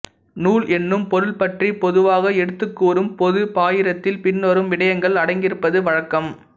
நூல் என்னும் பொருள்பற்றிப் பொதுவாக எடுத்துக்கூறும் பொதுப் பாயிரத்தில் பின்வரும் விடயங்கள் அடங்கியிருப்பது வழக்கம்